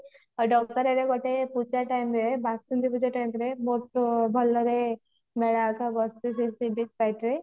ଡଗରା ରେ ଗୋଟେ ପୂଜା time ରେ ବାସନ୍ତୀ ପୂଜା time ରେ ବହୁତ ଭଲ ଲାଗେ ମେଳା ଯାକ ବସେ ସବୁ ସେ sea beach site ରେ